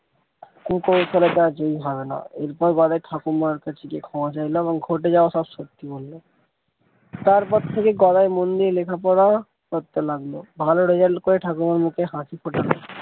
এরপরে গদাই ঠাকুমার কাছে ক্ষমা চাইল এবং ঘটে যাওয়া সব সত্যি বলল তারপর থেকে গদাই মন দিয়ে লেখাপড়া করতে লাগলো ভালো result করে ঠাকুমার মুখে হাসি ফোটাল।